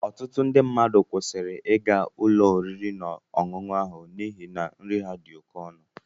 Ọtụtụ ndị mmadụ kwụsịrị ịga ụlọ oriri na ọṅụṅụ ahụ n'ihi na nri ha dị oké ọnụ.